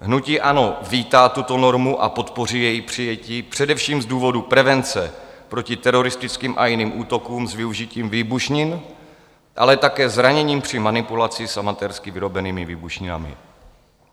Hnutí ANO vítá tuto normu a podpoří její přijetí především z důvodu prevence proti teroristickým a jiným útokům s využitím výbušnin, ale také zraněním při manipulaci s amatérsky vyrobenými výbušninami.